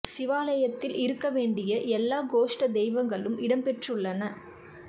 சிவாலயத்தில் இருக்க வேண்டிய எல்லா கோஷ்ட தெய்வங்களும் இடம் பெற்றுள்ளன